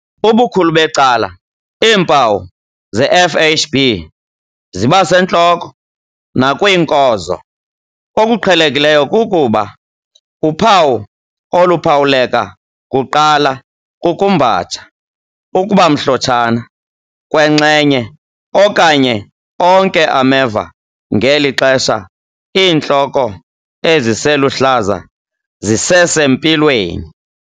Ubukhulu becala iimpawu zeFHB ziba sentloko nakwiinkozo. Okuqhelekileyo kukuba, uphawu oluphawuleka kuqala kukumbatsha, ukuba mhlotshana kwenxenye okanye onke ameva ngeli xesha iintloko eziseluhlaza zisesempilweni.